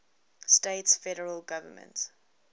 states federal government